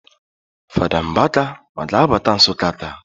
Fada Mbaka ọ ga-abata Nsụka taa?